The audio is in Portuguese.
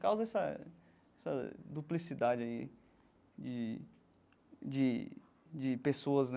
Causa essa essa duplicidade aí de de de pessoas, né?